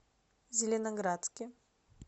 зеленоградске